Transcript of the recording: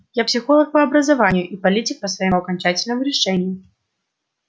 я психолог по образованию и политик по своему окончательному решению